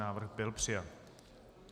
Návrh byl přijat.